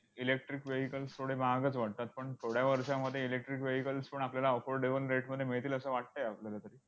electric vehicles थोडे महागच वाटतात, पण थोड्या वर्षांमध्ये electric vehicles पण आपल्याला affordable rate मध्ये मिळतील, असं वाटतंय आपल्याला तरी.